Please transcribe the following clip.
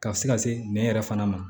Ka se ka se nɛn yɛrɛ fana ma